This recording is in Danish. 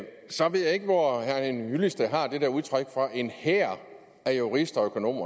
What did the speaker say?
så ved jeg ikke hvor herre henning hyllested har det der udtryk om en hær af jurister og økonomer